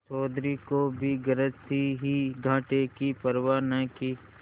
चौधरी को भी गरज थी ही घाटे की परवा न की